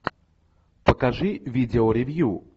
покажи видео ревью